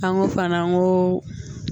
An ko fana an ko